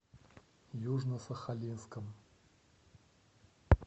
южно сахалинском